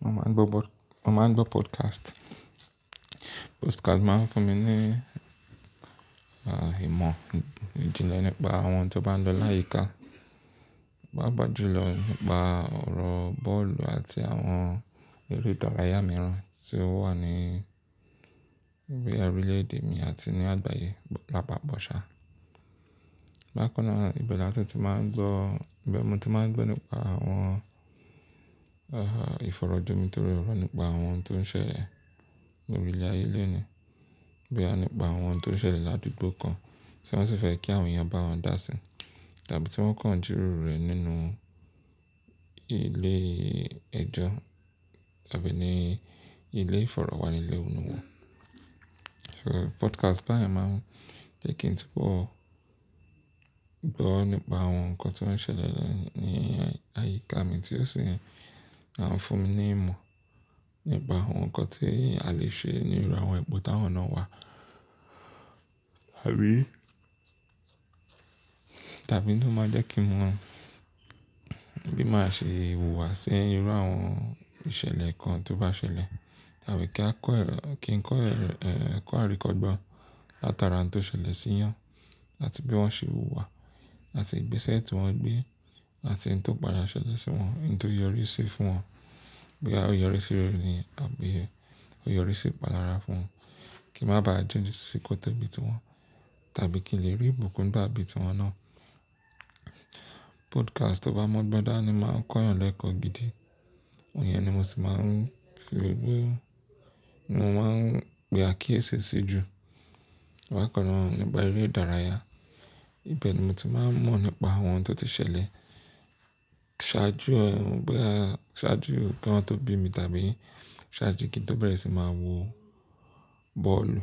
Mo máa ń bọ́ mo máa ń gbọ́ podcast. Podcast máa ń fún mi ní ìmọ̀ ìjìnlẹ̀ nípa àwọn oun tó bá ń lọ láyìíká, pàápàá jùlọ nípa ọ̀rọ̀ bọ́ọ̀lù àti àwọn eré ìdárayá mìíràn tí ó wà ní bóyá orílẹ̀ èdè mi àti ní àgbáyé lápapọ̀ sá. Bákan náà, ibẹ̀ ni a sì ti máa ń gbọ́, ibẹ̀ ni mo ti máa ń gbọ́ nípa àwọn ìfọ̀rọ̀ jomitoro ọ̀rọ̀ nípa àwọn ohun tó ń ṣẹlẹ̀ ní orílẹ̀ ayé lónìí, bóyá nípa àwọn ohun tó ń ṣẹlẹ̀ ládùúgbò kan tí wọ́n sì fẹ́ kí àwọn èèyàn bá wọn dá si, tàbí tí wọ́n kàn ùn jíròrò rẹ̀ nínú ilé ẹjọ́ àbí ní ilé ìfọ̀rọ̀wánilẹ́nuwò. So podcast báyẹn máa ń jẹ́ kí n tí pọ̀ gbọ́ nípa àwọn nǹkan tí ó ń ṣẹlẹ̀ ní àyíká mi tí ó sì máa ń fún mi ní ìmọ̀ nípa àwọn nǹkan tí a lè ṣe níru àwọn ipò t'áwọn náà wà. Àbí tàbí ló máa jẹ́ kí mo mọ bí màá ṣe hùwàsí níru àwọn ìṣẹ̀lẹ̀ kan tó bá ṣẹlẹ̀, tàbí kí n kọ ẹ̀kọ́ àríkọ́gbọ́n látara ohun tó ṣẹlẹ̀ sí'yán, àti bí wọ́n ṣe hùwà, àti ìgbésẹ̀ tí wọ́n gbé, àti ohun tó padà ṣẹlẹ̀ sí wọn, ohun tó yọríi sí fún wọn. Bóyá ó yọríi sí rere ni àbí ó yọríi sí ìpalára fún wọn. Kí n má ba à jìn sí kòtò bí i ti wọn, tàbí kí n lè rí ìbùkún gbà bíi ti wọn náà. Podcast tó bá mọ́'gbọ́n dání máa ń kọ́'yàn lẹ́kọ̀ọ́ gidi. Ìyẹn ni mo sì máa ń fi we ni mo máa ń pe àkíyèsí sí jù, bákan náà nípa eré ìdárayá. Ibẹ̀ ni mo ti máa ń mọ̀ nípa àwọn ohun tó ti ṣẹlẹ̀ ṣáájú òun, bóyá ṣáájú òun kí wọ́n tó bí mi, tàbí ṣáájú kí n tó bẹ̀rẹ̀ sí máa wo bọ́ọ̀lù.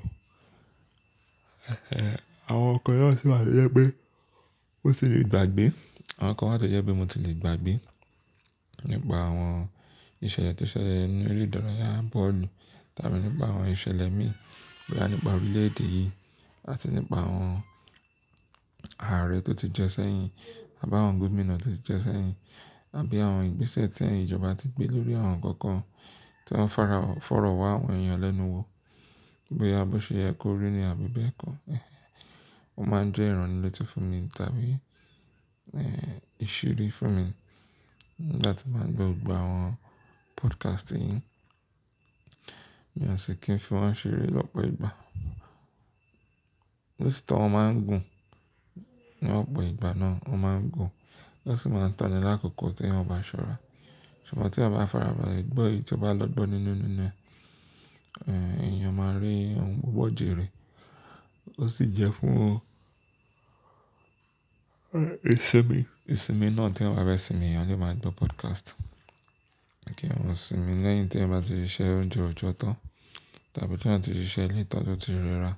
Àwọn nǹkan náà sì wà tójẹ́ pé mó tilè gbàgbé, àwọn nǹkan wà tó jẹ́ pé mo ti lè gbàgbé nípa àwọn ìṣẹ̀lẹ̀ tó ṣẹlẹ̀ nínú eré ìdárayá bọ́ọ̀lù, tàbí nípa àwọn ìṣẹ̀lẹ̀ mí ìn, bóyá nípa orílẹ̀ èdè yìí àti nípa àwọn ààrẹ tó ti jẹ́ sẹ́yìn, àbá àwọn gómìnà tó ti jẹ́ sẹ́yìn, àbí àwọn ìgbésẹ̀ tí ẹ̀yin ìjọba ti gbé lórí àwọn nǹkan kan tí wọ́n ń fọ̀rọ̀ wá àwọn èèyàn lẹ́nu wò, bóyá bóṣe yẹ kó rí nìyẹn àbí bẹ́ẹ̀ kọ́. Ó máa ń jẹ́ ìránilétí fún mi tàbí ìṣírí fún mi láti máa ń gbọ́ gbogbo àwọn podcast yìí. Mi ò sì kí ń fi wọ́n ṣeré lọ́pọ̀ ìgbà. Bí i tí àwọn máa ń gùn ní ọ̀pọ̀ ìgbà náà, wọ́n máa ń gùn, wọ́n sì máa ń tọ̀ni l'àkókò tí eyan o bá ṣọ́ra. Ṣùgbọ́n tí eyan bá farabalẹ̀ gbọ́ èyí tí ó bá lọ́ gbọ́ nínú inú ẹ, èèyàn máa rí ohun pupo jẹ́ rẹ̀. Ó sì jẹ́ fún ìsinmi. Ìsinmi náà tí eyan bá fẹ́ sinmi, èèyàn le máa gbọ́ podcast. Kí wọn sinmi lẹ́yìn tí wọ́n bá ti ṣe iṣẹ́ ọjọ́ ọjọ́ tán, tàbí tí wọ́n ti ṣe iṣẹ́ lẹ́ẹ̀tán tí ó ti rẹ́ra,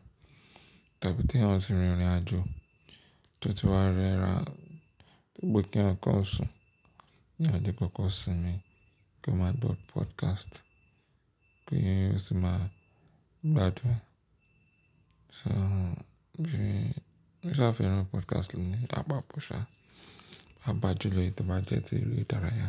tàbí tí àwọn ti rin ìrìnàjò tí ó ti wá rẹ́ra, dipo kí eyan kàn sùn eyan le koko sinmi kí wọn máa gbọ́ podcast, ki ó sì máa gbádùn. So bí mo sá fẹ́ran podcast ni àpáàpọ̀ sá, papájúlọ̀ èyí tó bá jẹ́ ti eré ìdárayá.